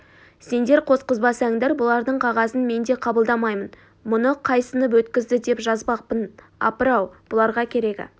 сендер қосқызбасаңдар бұлардың қағазын мен де қабылдамаймын мұны қай сынып өткізді деп жазбақпын апыр-ау бұларға керегі